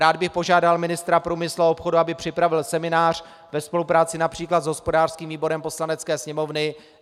Rád bych požádal ministra průmyslu a obchodu, aby připravil seminář ve spolupráci například s hospodářským výborem Poslanecké sněmovny.